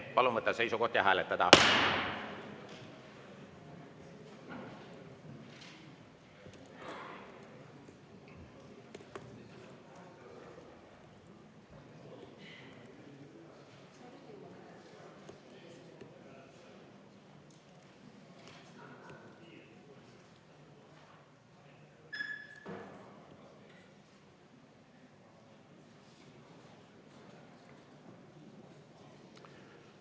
Palun võtta seisukoht ja hääletada!